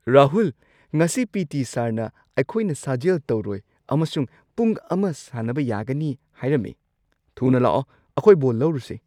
ꯔꯥꯍꯨꯜ! ꯉꯁꯤ ꯄꯤ.ꯇꯤ. ꯁꯔꯅ ꯑꯩꯈꯣꯏꯅ ꯁꯥꯖꯦꯜ ꯇꯧꯔꯣꯏ ꯑꯃꯁꯨꯡ ꯄꯨꯡ ꯱ ꯁꯥꯟꯅꯕ ꯌꯥꯒꯅꯤ ꯍꯥꯏꯔꯝꯃꯦ! ꯊꯨꯅ ꯂꯥꯛꯑꯣ, ꯑꯩꯈꯣꯏ ꯕꯣꯜ ꯂꯧꯔꯨꯁꯦ!